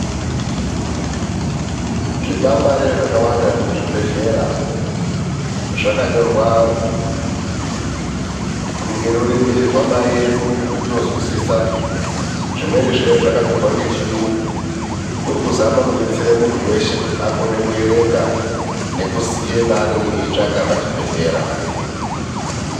Zvikwangwari zvakawanda zvemuzvibhedhlera zvakanyorwa ngerurimi rwamai edu rwetinozwisisa. Zvimweni zvezvakanyorwa ngechiyungu kurikuzama kudetsera muntu weshe kuti akone kuerenga nekuziya paainenge achitsvaka pachibhedhlera.